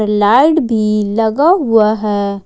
Light भी लगा हुआ है।